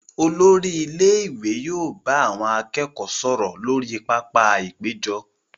Olori ilé ìwé yóò bá àwọn akẹ́kọ̀ọ́ sọ̀rọ̀ lórí pápá-ìpéjọ.